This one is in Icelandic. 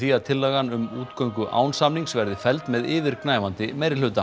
að tillagan um útgöngu án samnings verði felld með yfirgnæfandi meirihluta